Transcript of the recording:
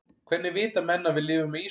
hvernig vita menn að við lifum á ísöld